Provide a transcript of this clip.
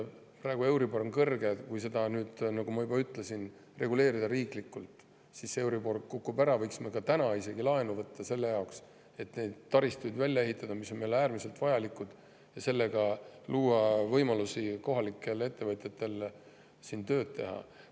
Praegu on euribor kõrge, aga kui seda, nagu ma juba ütlesin, reguleerida riiklikult, siis euribor kukub ja me võiksime isegi täna laenu võtta selle jaoks, et ehitada välja see taristu, mis on meile äärmiselt vajalik, ja sellega luua kohalikele ettevõtjatele võimalusi siin tööd teha.